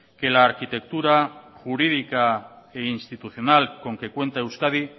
que la arquitectura jurídica e institucional con que cuenta euskadi